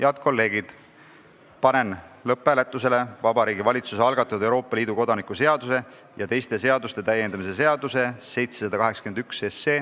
Head kolleegid, panen lõpphääletusele Vabariigi Valitsuse algatatud Euroopa Liidu kodaniku seaduse ja teiste seaduste täiendamise seaduse eelnõu.